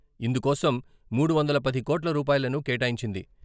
యిందుకోసం మూడు వందల పది కోట్ల రూపాయలను కేటాయించింది.